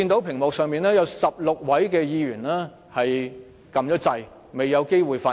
屏幕上顯示有16位議員按下"發言按鈕"，但未有機會發言。